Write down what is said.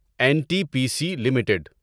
N T P C limited